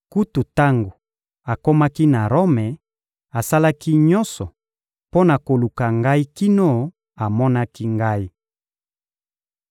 Kutu tango akomaki na Rome, asalaki nyonso mpo na koluka ngai kino amonaki ngai.